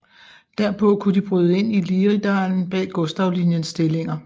Derpå kunne de bryde ind i Liridalen bag Gustavlinjens stillinger